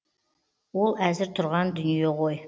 ол әзір тұрған дүние ғой